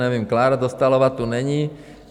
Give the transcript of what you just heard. Nevím, Klára Dostálová tu není...